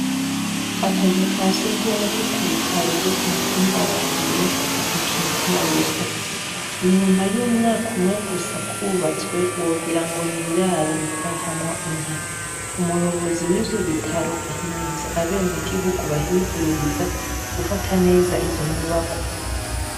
Akazu ka sugumwe ko kubitaro vyo kumutumba Rariro ntikitaweho, inyuma y'umwaka umwe gusa kubatswe wogirango n'iraro ritahamwo inka, umuyobozi wivyo bitaro ahimiriza abenegihugu bahivuriza gufata neza izo nyubakwa.